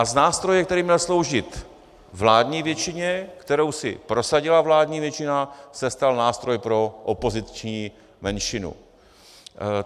A z nástroje, který měl sloužit vládní většině, kterou si prosadila vládní většina, se stal nástroj pro opoziční menšinu.